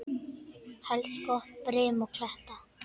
Helst gott brim og kletta.